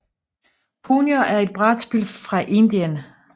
Punjo er et brætspil fra Indien